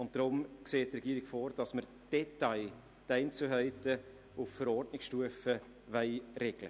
Deshalb sieht die Regierung vor, die Einzelheiten auf Verordnungsstufe zu regeln.